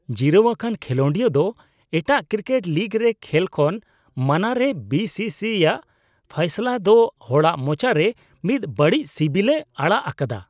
ᱡᱤᱨᱟᱹᱣ ᱟᱠᱟᱱ ᱠᱷᱮᱞᱚᱱᱰᱤᱭᱟᱹ ᱫᱚ ᱮᱴᱟᱜ ᱠᱨᱤᱠᱮᱴ ᱞᱤᱜᱽ ᱨᱮ ᱠᱷᱮᱞ ᱠᱷᱚᱱ ᱢᱟᱱᱟᱨᱮ ᱵᱤᱥᱤᱥᱤ (BCCI's) ᱟᱜ ᱯᱷᱟᱭᱥᱟᱞᱟ ᱫᱚ ᱦᱚᱲᱟᱜ ᱢᱚᱪᱟ ᱨᱮ ᱢᱤᱫ ᱵᱟᱹᱲᱤᱡ ᱥᱤᱵᱤᱞᱮ ᱟᱲᱟᱜ ᱟᱠᱟᱫᱟ᱾